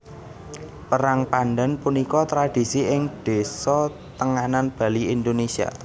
Perang pandhan punika tradhisi ing désa Tenganan Bali Indonesia